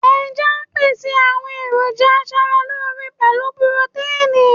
Ẹja ń pèsè àwọn èròjà aṣaralóore pẹ̀lú pirotéìnì.